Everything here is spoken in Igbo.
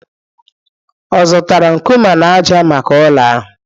Ọ zụtara nkume na ájá maka ụlọ ahụ